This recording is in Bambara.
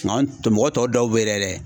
Nka an mɔgɔ tɔw dɔw bɛ yɛrɛ